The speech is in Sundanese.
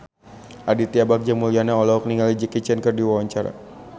Aditya Bagja Mulyana olohok ningali Jackie Chan keur diwawancara